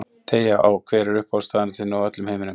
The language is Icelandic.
Teygja á Hver er uppáhaldsstaðurinn þinn í öllum heiminum?